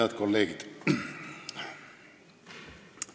Head kolleegid!